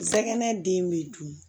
Sɛgɛnɛ den bɛ dun